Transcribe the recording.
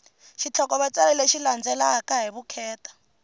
xitlhokovetselo lexi landzelaka hi vukheta